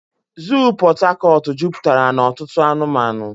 Zoo Pot Tarcort juputara na otutu anumanu.